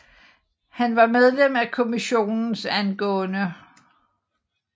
Han var medlem af Kommissionen ang